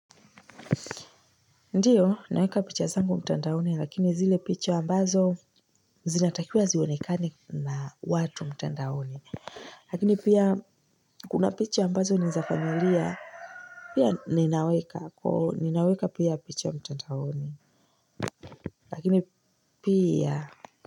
Ndiyo naweka picha zangu mtandaoni lakini zile picha ambazo zinatakiwa zionekane na watu mtandaoni lakini pia kuna picha ambazo ni za familia pia ninaweka pia picha mtandaoni lakini pia.